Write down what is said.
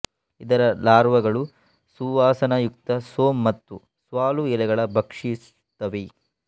ಇದರ ಲಾರ್ವಗಳು ಸುವಾಸನಯುಕ್ತ ಸೋಮ್ ಮತ್ತು ಸ್ವಾಲು ಎಲೆಗಳನ್ನು ಭಕ್ಷಿಸುತ್ತವೆ